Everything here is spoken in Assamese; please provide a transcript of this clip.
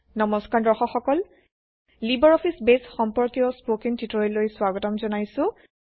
নমস্কাৰ দৰ্শক সকল লিবাৰঅফিছ বেছ সম্পৰ্কীয় স্পকেন টিউটৰিয়েললৈ স্বাগতম জনাইছোঁ